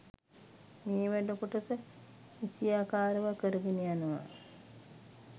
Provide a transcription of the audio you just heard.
මේ වැඩ කොටස නිසියාකාරව කරගෙන යනවා